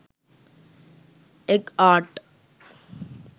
egg art